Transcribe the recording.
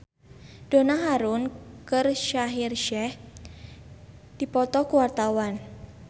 Donna Harun jeung Shaheer Sheikh keur dipoto ku wartawan